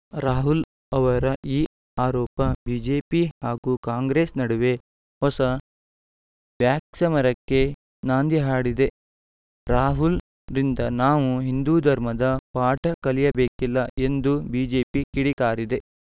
ರಾಹುಲ್‌ ಅವರ ಈ ಆರೋಪ ಬಿಜೆಪಿ ಹಾಗೂ ಕಾಂಗ್ರೆಸ್‌ ನಡುವೆ ಹೊಸ ವ್ಯಾ ಕ್ಸಮರಕ್ಕೆ ನಾಂದಿ ಹಾಡಿದೆ ರಾಹುಲ್‌ರಿಂದ ನಾವು ಹಿಂದೂ ಧರ್ಮದ ಪಾಠ ಕಲಿಯಬೇಕಿಲ್ಲ ಎಂದು ಬಿಜೆಪಿ ಕಿಡಿಕಾರಿದೆ